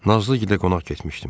Nazlıgilə qonaq getmişdim.